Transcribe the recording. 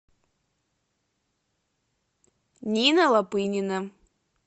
нина лапынина